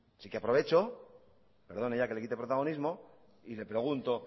así que aprovecho perdone ya que le quite protagonismo y le pregunto